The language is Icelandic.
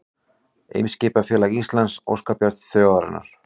Eimskipafélag Íslands, óskabarn þjóðarinnar